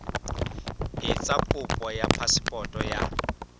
etsa kopo ya phasepoto ya